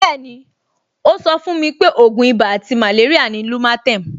Bẹ́ẹ̀ni, ó sọ fún mi pé ògùn ibà àti màléríà ni lumatem